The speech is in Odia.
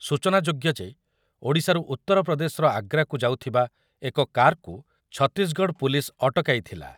ସୂଚନାଯୋଗ୍ୟ ଯେ ଓଡ଼ିଶାରୁ ଉତ୍ତରପ୍ରଦେଶର ଆଗ୍ରାକୁ ଯାଉଥିବା ଏକ କାର୍‌କୁ ଛତିଶଗଡ଼ ପୁଲିସ୍ ଅଟକାଇଥିଲା ।